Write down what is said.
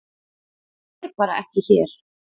Það er ekki bara hér.